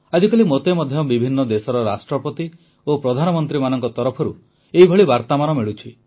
ଆଜିକାଲି ମୋତେ ମଧ୍ୟ ବିଭିନ୍ନ ଦେଶର ରାଷ୍ଟ୍ରପତି ଓ ପ୍ରଧାନମନ୍ତ୍ରୀ ମାନଙ୍କ ତରଫରୁ ଏଭଳି ବାର୍ତ୍ତାମାନ ମିଳୁଛି